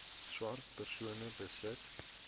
swart persone besit